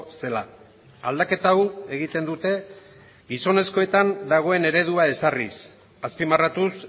zela aldaketa hau egiten dute gizonezkoetan dagoen eredua ezarriz azpimarratuz